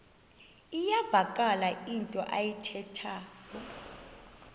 iyavakala into ayithethayo